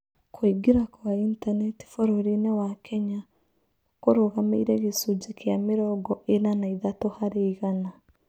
Kũingĩra kwa Intaneti bũrũri-inĩ wa Kenya kũrũgamĩire gĩcunjĩ kĩa mĩrongo ĩna na ithatũ harĩ igana